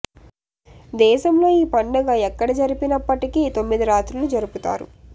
దేశంలో ఈ పండుగ ఎక్కడ జరిపి నప్పటికీ తొమ్మిది రాత్రులు జరుపుతారు